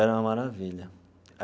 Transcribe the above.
Era uma maravilha.